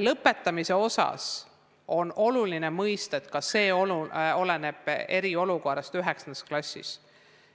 Lõpetamise osas on oluline mõista, palju oleneb eriolukorrast nii 9. kui